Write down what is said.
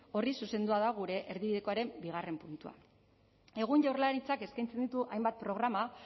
horri zuzendua da gure erdibidekoaren bigarren puntua egun jaurlaritzak eskaintzen ditu hainbat programa